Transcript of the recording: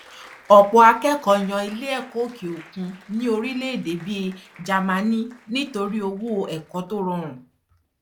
ọpọ akẹkọọ yàn iléẹkọ òkè òkun ní orílẹèdè bíi jámánì nítorí owó ẹkọ tó rọrùn